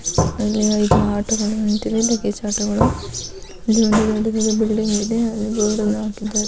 ಇಲ್ಲಿ ಐದು ಆಟೋ ಗಳು ನಿಂತಿವೆ ಲಗೇಜ್ ಆಟೋ ಗಳು ದೊಡ್ಡ ದೊಡ್ಡ ಬಿಲ್ಡಿಂಗ್ ಇವೆ ಡೋರ್ ಹಾಕಿದ್ದಾರೆ.